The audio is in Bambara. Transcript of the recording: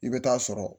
I bɛ taa sɔrɔ